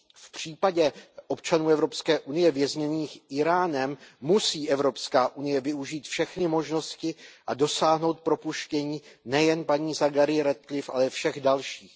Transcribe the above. V případě občanů Evropské unie vězněných Íránem musí Evropská unie využít všechny možnosti a dosáhnout propuštění nejen paní Zaghariové Ratcliffeové, ale všech dalších.